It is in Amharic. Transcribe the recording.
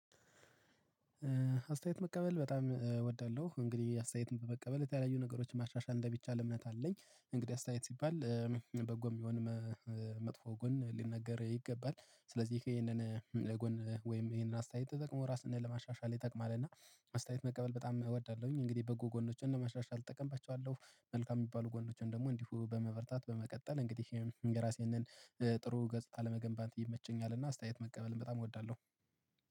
አስተያየት መቀበል በጣም እወዳለሁ እንግዲህ አስተያየትን በመቀበል የተለያዩ ነገሮች ማሻሻል እንደሚቻል እምነት አለኝ እንግዲህ አስተያየት ሲባል በጎም ይሁን መጥፎ ጎን ሊነገር ይገባል። ስለዚህ ይሄንን ለጎን ወይም ይሄንን አስተያየት ተጠቅሞ ራስን ለማሻሻል ይጠቅማል። እና አስተያየት መቀበል በጣም እወዳለሁኝ እንግዲህ በጎ ጎኖችን እና መሻሻል እጠቀምባቸዋለሁ። መልካም የሚባሉ ጎኖችን ደግሞ እንዲሁ በመበርታት በመቀጠል እንግዲህ የራሴን ጥሩ ገጽታ ለመገንባት ይመቸኛል። እና አስተያየት መቀበልም በጣም እወዳለሁ